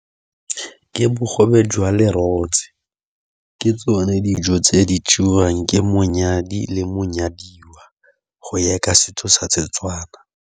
Ke bogobe jwa lerotse, ke tsone dijo tse di jewang ke monyadi le monyadiwa go ya ka setso sa Setswana.